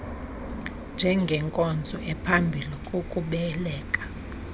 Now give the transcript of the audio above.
njengenkonzo ephambi kokubeleka